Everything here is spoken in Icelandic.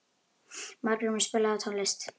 Margrímur, spilaðu tónlist.